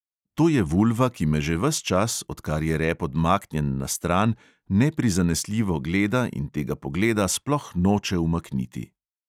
To je vulva, ki me že ves čas, odkar je rep odmaknjen na stran, neprizanesljivo gleda in tega pogleda sploh noče umakniti.